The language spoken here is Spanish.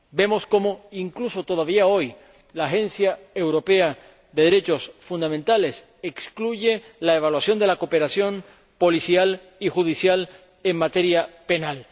Vemos cómo ―incluso todavía hoy― la Agencia de los Derechos Fundamentales de la Unión Europea excluye la evaluación de la cooperación policial y judicial en materia penal.